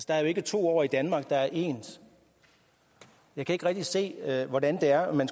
der er jo ikke to åer i danmark der er ens jeg kan ikke rigtig se hvordan det er man